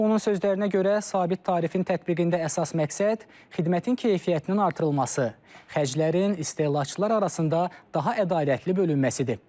Onun sözlərinə görə, sabit tarifin tətbiqində əsas məqsəd xidmətin keyfiyyətinin artırılması, xərclərin istehlakçılar arasında daha ədalətli bölünməsidir.